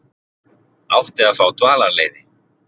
Átti að fá dvalarleyfi